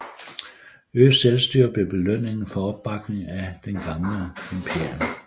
Øget selvstyre blev belønningen for opbakningen af det gamle imperium